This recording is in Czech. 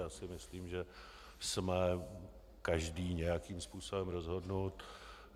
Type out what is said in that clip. Já si myslím, že jsme každý nějakým způsobem rozhodnut.